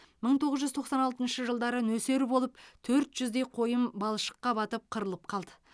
мың тоғыз жүз тоқсан алтыншы жылдары нөсер болып төрт жүздей қойым балшыққа батып қырылып қалды